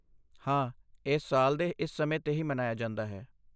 ਹਾਂ, ਇਹ ਸਾਲ ਦੇ ਇਸ ਸਮੇਂ 'ਤੇ ਹੀ ਮਨਾਇਆ ਜਾਂਦਾ ਹੈ।